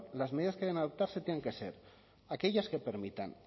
las medidas que deben adoptarse tienen que ser aquellas que permitan